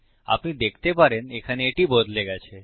আপনি দেখতে পারেন এখানে এটি বদলে গেছে